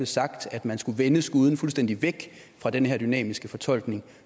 sagt at man skulle vende skuden fuldstændig væk fra den her dynamiske fortolkning